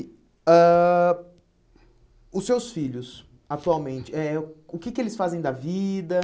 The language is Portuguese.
Ãh os seus filhos, atualmente, eh o que que eles fazem da vida?